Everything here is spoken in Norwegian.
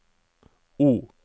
O